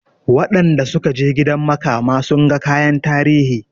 Wanda sukaje gidan makama sunga kayan tarihi